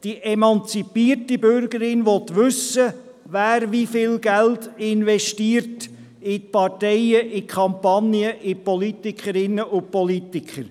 Die emanzipierte Bürgerin will wissen, wer wie viel Geld investiert wird – in Parteien, Kampagnen, in Politikerinnen und Politiker.